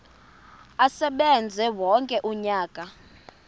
asebenze wonke umnyaka